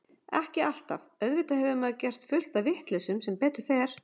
Ekki alltaf, auðvitað hefur maður gert fullt af vitleysum sem betur fer.